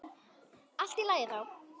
Allt í lagi þá.